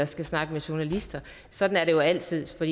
skal snakke med journalister sådan er det jo altid og